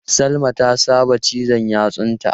Salma ta saba cizan yatsunta.